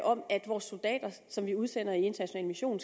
om at vores soldater som vi udsender i international mission